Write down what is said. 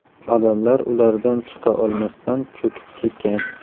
Odamlar ulardan chiqa olmasdan, cho‘kib ketgan.